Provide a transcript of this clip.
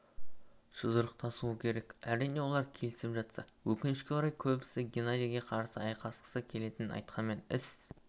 жұдырықтасуы керек әрине олар келісіп жатса өкінішке орай көбісі геннадиге қарсы айқасқысы келетінін айтқанмен іс